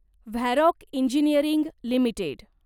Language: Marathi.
Varroc engineering limited